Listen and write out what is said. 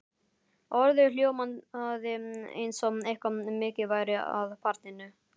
Orðið hljómaði eins og eitthvað mikið væri að barninu.